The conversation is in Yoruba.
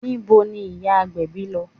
Níbo ni ìyá agbèbí ń lọ?